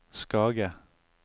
Skage